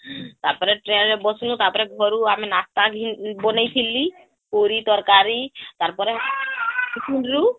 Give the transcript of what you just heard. ତାପରେ ଟ୍ରେନ ରେ ବସିଲୁ ତାପରେ ଘରୁ ଆମେ ନାଶ୍ତା ଘି ବାନେଇଥିଲି ପୁରୀ ତରକାରୀ ତାର ପରେ ତାର ପରେ ......